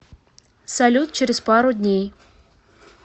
салют через пару дней